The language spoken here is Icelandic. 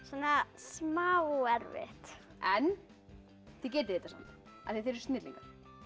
smá erfitt en þið getið þetta af því þið eruð snillingar